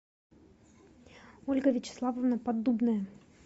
ольга вячеславовна поддубная